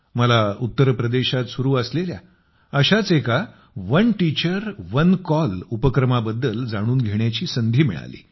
मला उत्तर प्रदेशात सुरू असलेल्या अशाच एका one teacher one call one teacher one call उपक्रमाबद्दल जाणून घेण्याची संधी मिळाली